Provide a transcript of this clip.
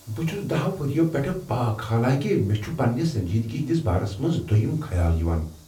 بہٕ چُھس دَہو ؤریو پیٚٹھٕ پاک حالانٛکہ مےٚ چُھ پننہ سنجیدگی ہٕندس بارس منٛز دویم خیال یِوان